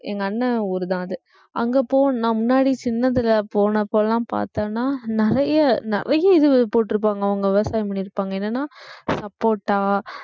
எங்க அண்ணன் ஊர்தான் அது அங்க போ~ நான் முன்னாடி சின்னதுல போனப்பலாம் பார்த்தேன்னா நிறைய நிறைய இது போட்டு இருப்பாங்க அவங்க விவசாயம் பண்ணியிருப்பாங்க என்னன்னா சப்போட்டா